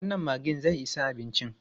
Wannan maggin zai isa abincin?